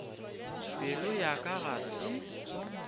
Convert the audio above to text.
pelo ya ka ga se